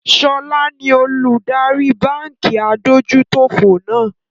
ṣọlá ni olùdarí báńkì adójútòfò náà.